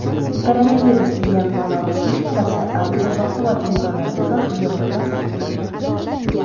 koronavirus degan balo psixikasi ancha "baquvvat" insonlarga ham yomon ta’sir qilmoqda.